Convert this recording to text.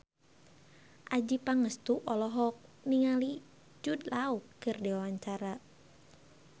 Adjie Pangestu olohok ningali Jude Law keur diwawancara